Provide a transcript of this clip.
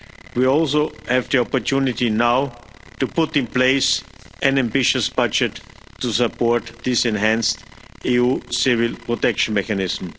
We also have the opportunity now to put in place an ambitious budget to support this enhanced EU Civil Protection Mechanism.